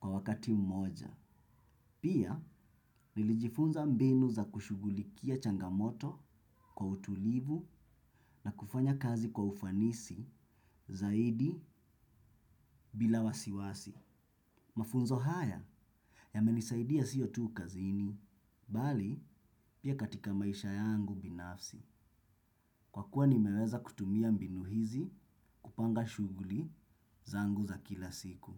kwa wakati mmoja. Pia, nilijifunza mbinu za kushughulikia changamoto kwa utulivu na kufanya kazi kwa ufanisi zaidi bila wasiwasi. Mafunzo haya yamenisaidia sio tu kazini, bali pia katika maisha yangu binafsi. Kwa kuwa nimeweza kutumia mbinu hizi kupanga shughuli zangu za kila siku.